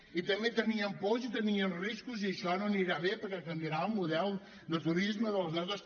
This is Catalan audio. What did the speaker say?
i també tenien pors i tenien riscos i això no anirà bé perquè canviarà el model de turisme de les nostres